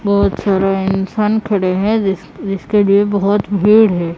बहुत सारा इंसान खड़े है जिस जिसके लिए बहुत भीड़ है।